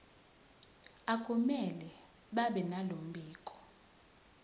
akumele babenalo mbiko